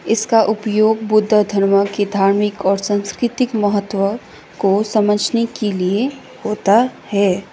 इसका उपयोग बुद्ध धर्म की धार्मिक और सांस्कृतिक महत्व को समझने के लिए होता है।